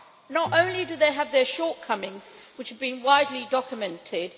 Not only do they have their shortcomings, which have been widely documented